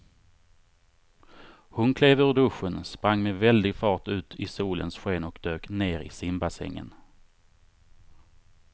Hon klev ur duschen, sprang med väldig fart ut i solens sken och dök ner i simbassängen.